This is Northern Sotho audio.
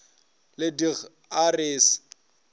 le dg a re se